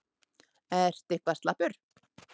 Ertu eitthvað slappur?